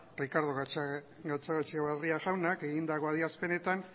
ricardo gatzagaetxebarria jaunak egindako adierazpenetan